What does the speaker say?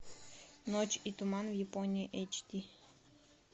ночь и туман в японии эйч ди